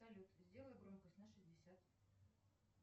салют сделай громкость на шестьдесят